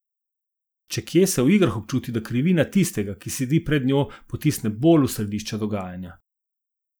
Če kje, se v igrah občuti, da krivina tistega, ki sedi pred njo, potisne bolj v središče dogajanja.